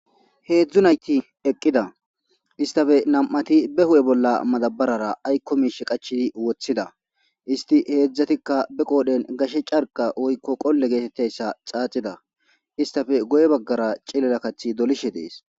Hezdzdu nayti eqida , istappe nam'ati be hu'e bolla madabarara ayko mishe qachid wothida isti hezdzdatika be qodhen gashe carqa woyko qole getetizaysa xaaxida, istappe guye bagara cilila kathiy dolishe Des